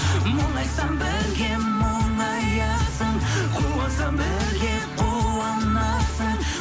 мұңайсам бірге мұңаясың қуансам бірге қуанасың